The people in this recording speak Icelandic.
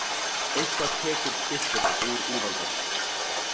Eitthvað tekur kryppuna úr úlfaldanum